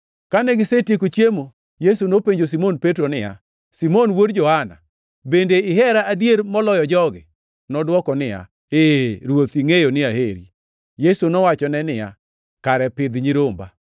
Kane gisetieko chiemo, Yesu nopenjo Simon Petro niya, “Simon wuod Johana, bende ihera adier moloyo jogi?” Nodwoke niya, “Ee, Ruoth, ingʼeyo ni aheri.” Yesu nowachone niya, “Kare pidh nyiromba.”